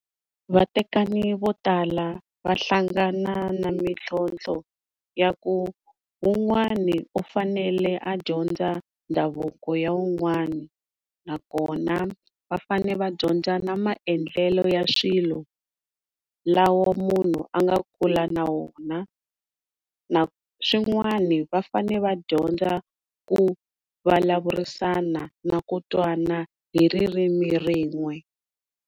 Vatekani vo tala va hlangana na mitlhotlho ya ku wun'wani u fanele a dyondza ndhavuko ya wun'wani na kona vafane va dyondza na maendlelo ya swilo lawa munhu anga kula nawona swin'wani vafane va dyondza ku valavurisana na ku twana hi ririmi rin'we.